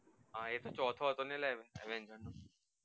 હા એક ચોથો